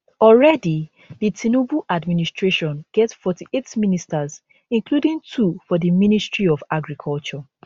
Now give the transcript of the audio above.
already di tinubu administration get 48 ministers including two for di ministry of agriculture